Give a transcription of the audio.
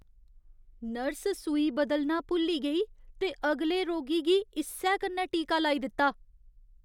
Nurse सूई बदलना भुल्ली गेई ते अगले रोगी गी इस्सै कन्नै टीका लाई दित्ता।